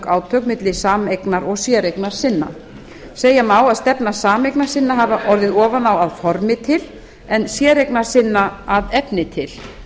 átök milli sameignar og séreignasinna segja má að stefna sameignarsinna hafi orðið ofan á að formi til en séreignasinna að efni til